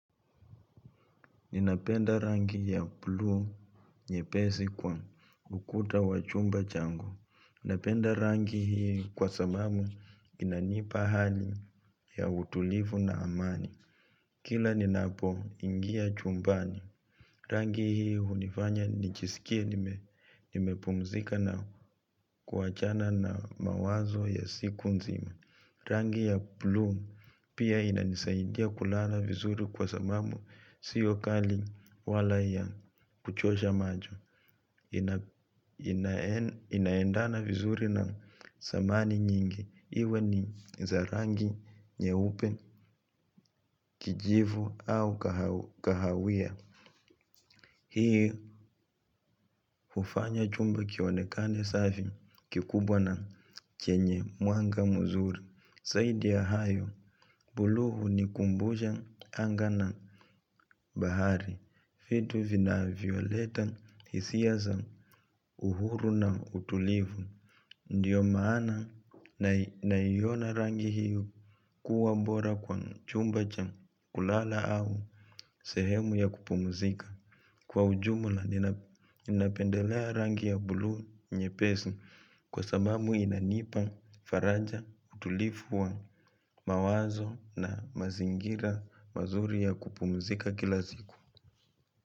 Ninapenda rangi ya blu nyepesi kwa ukuta wa chumba changu. Napenda rangi hii kwa sababu inanipa hali ya utulivu na amani. Kila ninapo ingia chumbani. Rangi hii hunifanya nijisikie nimepumzika na kuachana na mawazo ya siku nzima. Rangi ya blu pia ina nisaidia kulala vizuri kwa sababu sio kali wala ya kuchosha majo. Inaendana vizuri na samani nyingi. Iwe ni za rangi nyeupe kijivu au kahawia. Hii hufanya chumba kionekane safi kikubwa na chenye mwanga muzuri. Zaidi ya hayo, buluu huni kumbusha anga na bahari. Vitu vinavyoleta hisia za uhuru na utulivu. Ndiyo maana na iona rangi hiyo kuwa bora kwa chumba cha kulala au sehemu ya kupumuzika. Kwa ujumula ninapendelea rangi ya bulu nyepesi kwa sababu inanipa, faraja, utulivu wa mawazo na mazingira mazuri ya kupumzika kila siku.